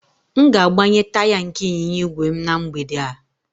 M ga-agbanye taya nke ịnyịnya ígwè m na mgbede a